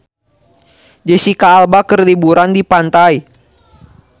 Jesicca Alba keur liburan di pantai